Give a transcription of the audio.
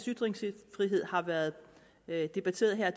ytringsfrihed har været debatteret her